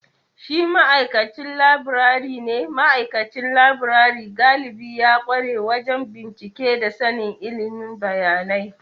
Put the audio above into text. Shi ma’aikacin laburare ne, ma’aikacin laburare galibi ya kware wajen bincike da sanin ilimin bayanai.